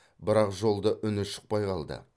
бірақ жолда үні шықпай қалды